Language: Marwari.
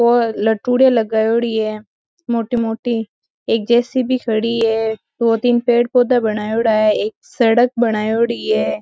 वो लटुडे लगायोड़ी है मोटी मोटी एक जे.सी.बी. खड़ी है दो तीन पेड़ पौधा बनायोडा है एक सडक बनायोडी है।